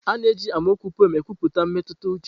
A na-eji amaokwu pụem ekwupụta mmetụta uche.